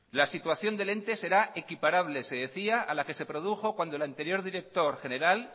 la situación del ente será equiparable se decía a la que se produjo cuando el anterior director general